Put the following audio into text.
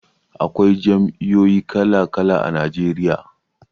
Akwai jam'iyoyi kala-kala a Najeriya.